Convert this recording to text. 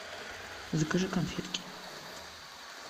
закажи конфетки